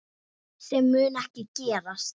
Sem mun ekki gerast.